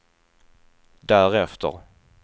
därefter